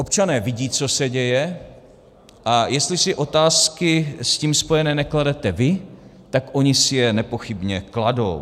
Občané vidí, co se děje, a jestli si otázky s tím spojené nekladete vy, tak oni si je nepochybně kladou.